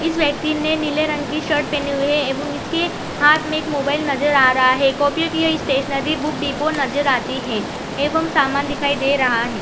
इस व्यक्ति ने नीले रंग की शर्ट पेनी हुई है एवं इसकी हाथ में एक मोबाईल नज़र आ रहा है कॉपी की यह स्टेसनरी बुक डीपो नज़र आती है एवं सामान दिखाई दे रहा है।